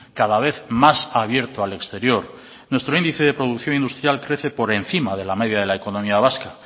cada vez más abierto al exterior nuestro índice de producción industrial crece por encima de la media de la economía vasca